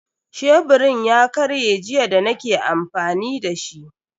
Sheburin ya karye jiya da nake amfani dashi.